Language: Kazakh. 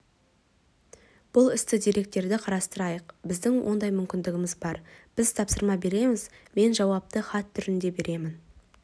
бұл істі деректерді қарастырайық біздің ондай мүмкіндігіміз бар біз тапсырма береміз мен жауапты хат түрінде беремін